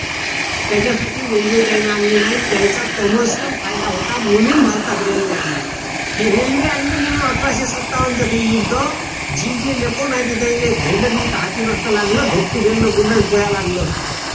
त्याच्यासाठी railway त्यांनी आणली नाही त्यांचा commercial फायदा होता म्हणून भारतात railway आणली ही railway आणली म्हणून अठराशे सत्तावनच युद्ध जिंकलेलं कोण आहे ते त्यांले हाती नसत लागलं पळायला लागलं असत